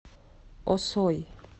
осой